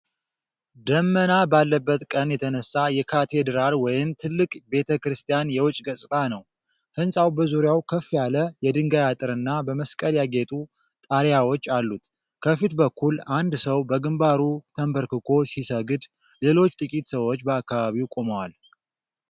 ደመና ባለበት ቀን የተነሳ የካቴድራል ወይም ትልቅ ቤተ ክርስቲያን የውጪ ገጽታ ነው። ሕንጻው በዙሪያው ከፍ ያለ የድንጋይ አጥርና በመስቀል ያጌጡ ጣሪያዎች አሉት። ከፊት በኩል አንድ ሰው በግንባሩ ተንበርክኮ ሲሰግድ፣ ሌሎች ጥቂት ሰዎች በአካባቢው ቆመዋል።